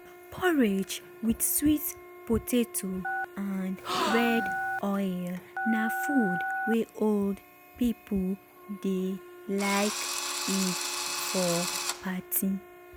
porridge with sweet potato and red oil na food wey old people dey like eat for party.